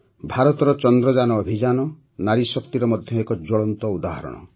ଭାରତର ଚନ୍ଦ୍ରଯାନ ଅଭିଯାନ ନାରୀଶକ୍ତିର ମଧ୍ୟ ଏକ ଜ୍ୱଳନ୍ତ ଉଦାହରଣ